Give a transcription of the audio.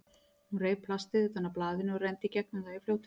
Hún reif plastið utan af blaðinu og renndi í gegnum það í fljótheitum.